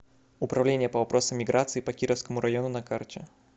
управления по вопросам миграции по кировскому району на карте